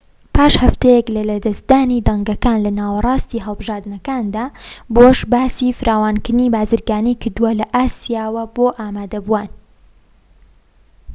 پاش هەفتەیەك لە لەدەستدانی دەنگەکان لە ناوەڕاستی هەڵبژاردنەکاندا بوش باسی فراوانکردنی بازرگانی کردوە لە ئاسیا بۆ ئامادەبووان